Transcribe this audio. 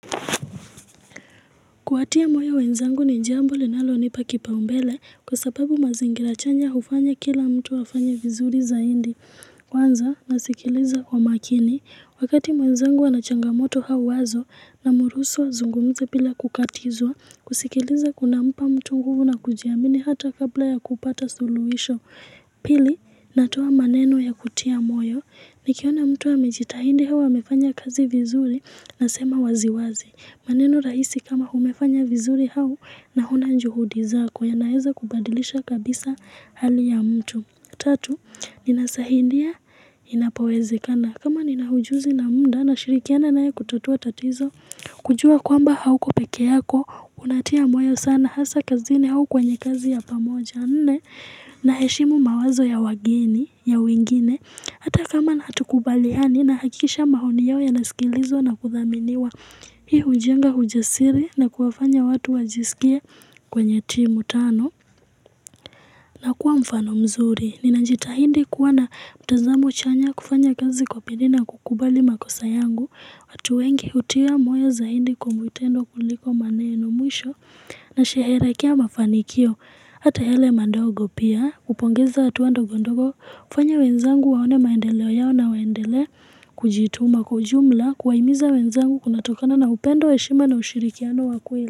Kuwatia moyo wenzangu ni jambo linalo nipa kipa umbele kwa sababu mazingira chanya hufanya kila mtu afanye vizuri zaidi kwanza na sikiliza kwa makini. Wakati mwenzangu anachangamoto auwazo namruhusu azungumze bila kukatizwa kusikiliza kuna mpa mtu nguvu na kujiamini hata kabla ya kupata suluhisho. Pili natoa maneno ya kutia moyo ni kiona mtu amejita hidi au amefanya kazi vizuri na sema waziwazi. Maneno rahisi kama umefanya vizuri au na ona juhudi zako ya naweza kubadilisha kabisa hali ya mtu. Tatu, ninasaidia inapoweze kana. Kama ninaujuzi na muda na shirikiana naye kutatua tatizo, kujua kwamba hauko peke yako, unatia moyo sana, hasa kazini au kwenye kazi ya pamoja. Na heshimu mawazo ya wageni ya wengine Hata kama hatukubaliani na hakikisha maoni yao ya nasikilizwa na kudhaminiwa Hii hujenga ujasiri na kuwafanya watu wajisikie kwenye timu tano na kuwa mfano mzuri Ninajita hidi kuwana mtazamo chanya kufanya kazi kwa bidii na kukubali makosa yangu watuwengi hutia moyo zaidi kwa vitendo kuliko maneno mwisho na sherehekea mafanikio Hata yale madogo pia hupongeza hatuando gondogo hufanya wenzangu waone maendeleo yao na waendele kujituma kwaujumla kuwahimiza wenzangu kunatokana na upendo heshima na ushirikiano wakweli.